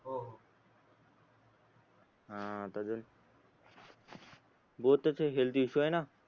हा आता तर हेल्थ इशु आहेना